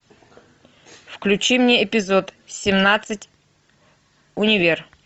включи мне эпизод семнадцать универ